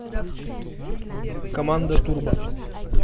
команда турбо